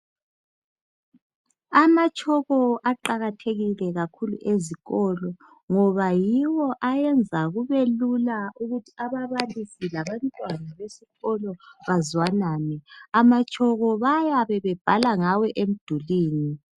Ama chalk aqakathekile kakhulu ezikolo ngoba yiwo ayenza kubelula ukuthi ababalisi labantwana besikolo bazwanane ama chalk bayabe bebhala ngawo emdulwini.